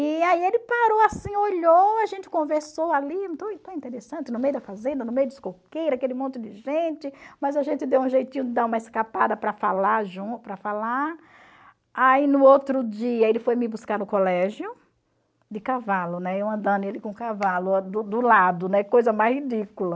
E aí ele parou assim, olhou, a gente conversou ali, interessante, no meio da fazenda, no meio dos coqueiros, aquele monte de gente, mas a gente deu um jeitinho de dar uma escapada para falar para falar, aí no outro dia ele foi me buscar no colégio de cavalo, né, eu andando ele com o cavalo do do lado, coisa mais ridícula.